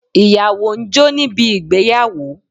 Ìyàwó ń jó níbi ìgbéyàwó